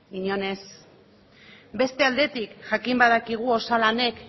inon ez beste aldetik jakin badakigu osalanek